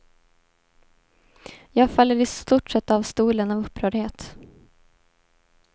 Jag faller i stort sett av stolen av upprördhet.